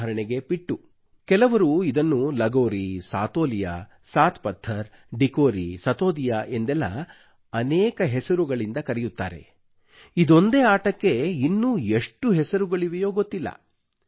ಉದಾಹರಣೆಗೆ ಪಿಟ್ಟೂ ಕೆಲವರು ಇದನ್ನು ಲಗೋರಿ ಸಾತೋಲಿಯಾ ಸಾತ್ ಪತ್ಥರ್ ಡಿಕೋರಿ ಸತೋದಿಯಾ ಎಂದೆಲ್ಲ ಅನೇಕ ಹೆಸರುಗಳಿಂದ ಕರೆಯುತ್ತಾರೆ ಇದೊಂದೇ ಆಟಕ್ಕೆ ಇನ್ನೂ ಎಷ್ಟು ಹೆಸರುಗಳಿವೆಯೋ ಗೊತ್ತಿಲ್ಲ